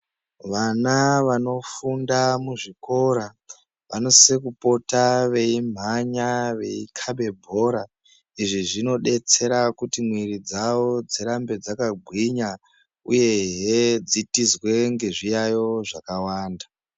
Vana vanofunda muzvikora vanosise kupota veimhanya veikabe bhora , izvi zvinodetsera kuti mwiri dzawo dzirambe dzakagwinya uyehe dzitizwe ngezviyayo zvakawanda .